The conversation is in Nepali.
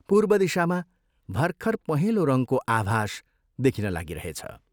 पूर्व दिशामा भर्खर पहेंलो रङ्गको आभास देखिन लागिरहेछ।